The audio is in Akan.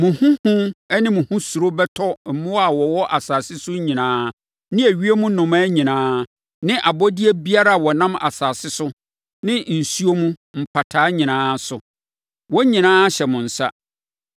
Mo ho hu ne mo ho suro bɛtɔ mmoa a wɔwɔ asase so nyinaa ne ewiem nnomaa nyinaa ne abɔdeɛ biara a wɔnam asase so ne nsuo mu mpataa nyinaa so. Wɔn nyinaa hyɛ mo nsa.